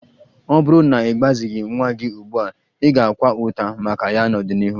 Ọ bụrụ na ị gbazighị nwa gị ugbu a, ị ga-akwa ụta maka ya n'ọdịnihu